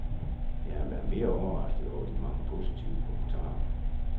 Jeg har været mere overrasket over de mange positive kommentarer.